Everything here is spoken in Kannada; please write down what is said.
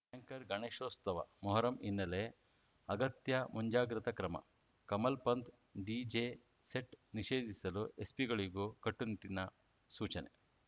ಆಂಕರ್‌ ಗಣೇಶೋತ್ಸವ ಮೊಹರಂ ಹಿನ್ನೆಲೆ ಅಗತ್ಯ ಮುಂಜಾಗ್ರತಾ ಕ್ರಮ ಕಮಲ್‌ ಪಂಥ್‌ ಡಿಜೆ ಸೆಟ್‌ ನಿಷೇಧಿಸಲು ಎಸ್ಪಿಗಳಿಗೂ ಕಟ್ಟುನಿಟ್ಟಿನ ಸೂಚನೆ